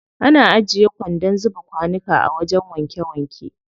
Ana ajiye kwandon zuba kwanuka a wajen wanke wanke.